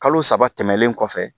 Kalo saba tɛmɛnen kɔfɛ